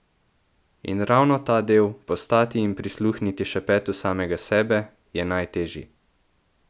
In ravno ta del, postati in prisluhniti šepetu samega sebe, je najtežji.